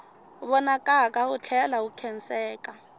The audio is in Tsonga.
vonakaka wu tlhela wu khenseka